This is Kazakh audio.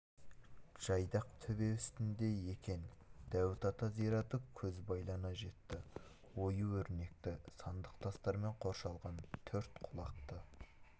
жайдақ төбе үстінде екен дәуіт ата зираты көз байлана жетті ою-өрнекті сандық тастармен қоршалған төрт құлақты